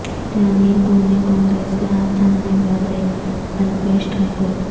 جانئے کون ہیں کانگریس کا ہاتھ تھامنے والے الپیش ٹھاکور